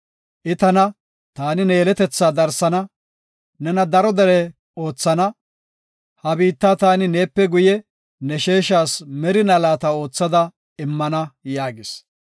I tana, ‘Taani ne yeletetha darsana, nena daro dere oothana. Ha biitta taani neepe guye, ne sheeshas merina laata oothada immana’ ” yaagis.